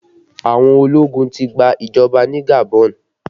Àwọn ológun ti gba ìjọba ní Gabon